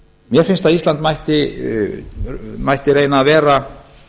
mér finnst að ísland mætti reyna að vera